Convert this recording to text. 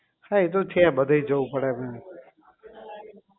હા એ તો છે બધે જવું પડે એમ